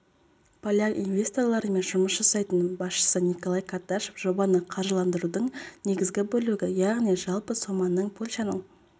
поляк инвесторларымен жұмыс жасайтын басшысы николай карташов жобаны қаржыландырудың негізгі бөлігі яғни жалпы соманың польшаның